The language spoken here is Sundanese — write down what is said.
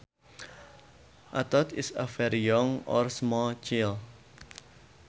A tot is a very young or small child